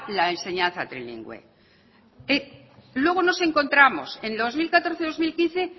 la enseñanza trilingüe luego nos encontramos en dos mil catorce dos mil quince